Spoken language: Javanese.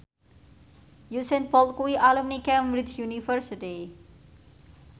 Usain Bolt kuwi alumni Cambridge University